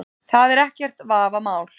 Það er ekkert vafamál